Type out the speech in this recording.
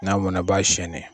N'a mɔna i b'a siyɛnɛ.